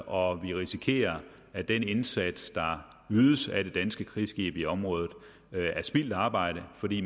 og vi risikerer at den indsats der ydes af det danske krigsskib i området er spildt arbejde fordi